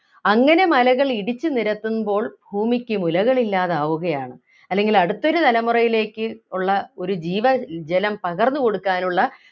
അങ്ങനെ മലകൾ ഇടിച്ചു നിരത്തുമ്പോൾ ഭൂമിക്കു മുലകൾ ഇല്ലാതാവുകയാണ് അല്ലെങ്കിൽ അടുത്ത ഒരു തലമുറയിലേക്ക് ഉള്ള ഒരു ജീവ ജലം പകർന്നു കൊടുക്കാനുള്ള